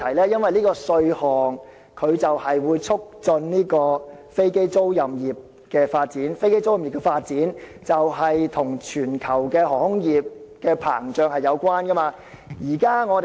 因為，有關稅項會促進飛機租賃業發展，而這般行業的發展與全球航空業的膨脹有關。